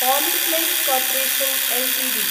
Polyplex corporation Ltd